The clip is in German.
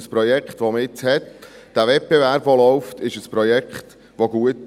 Das Projekt, das man jetzt hat, mit diesem Wettbewerb, der läuft, ist gut.